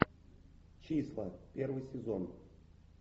числа первый сезон